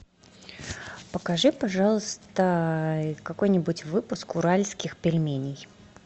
покажи пожалуйста какой нибудь выпуск уральских пельменей